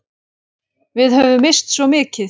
Við höfum misst svo mikið.